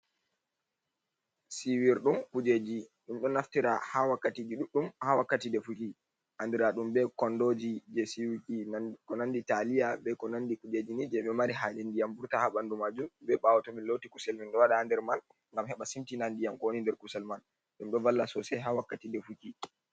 Siiwirɗum kuujeeji, Ɗum ɗon naftira haa wakkatiiji ɗuuɗɗum haa wakkati defuki, anndiraaɗum bee konndooji jey siiwuki ko nanndi taaliya bee ko nanndi kuujeeji ni jey ɓe mari haaje ndiyam wurta haa banndu maajum. Bee ɓaawo to min looti kusel min ɗo waɗa haa nder man ngam heɓa simtina ndiyam ko woni nder man. Ɗum ɗo walla soosay haa wakkatiiji defuki